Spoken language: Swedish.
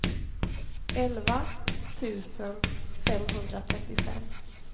elva tusen femhundratrettiofem